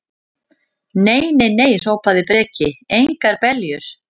Nei, nei, nei, hrópaði Breki, engar beljur.